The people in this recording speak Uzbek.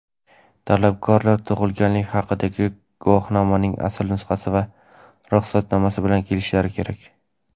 Talabgorlar tug‘ilganlik haqidagi guvohnomaning asl nusxasi va ruxsatnoma bilan kelishlari kerak.